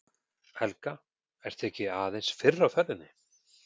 Helga: Ert þú ekki aðeins fyrr á ferðinni?